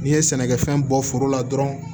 N'i ye sɛnɛkɛfɛn bɔ foro la dɔrɔn